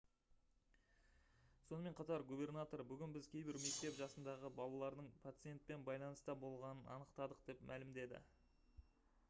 сонымен қатар губернатор: «бүгін біз кейбір мектеп жасындағы балалардың пациентпен байланыста болғанын анықтадық» деп мәлімдеді